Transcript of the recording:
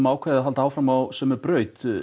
ákveðið að halda áfram á sömu braut